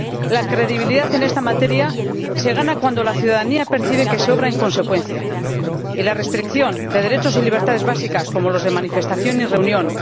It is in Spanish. La credibilidad en esta materia se gana cuando la ciudadanía percibe que se obra en consecuencia, y la restricción de derechos y libertades básicas, como los de manifestación y reunión